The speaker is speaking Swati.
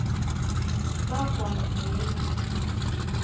bagwazela